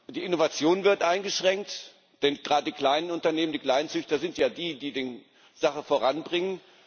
Die Innovation wird eingeschränkt, denn gerade die kleinen Unternehmen, die Kleinzüchter, sind ja die, die die Sache voranbringen.